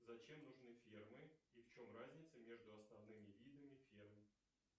зачем нужны фермы и в чем разница между основными видами ферм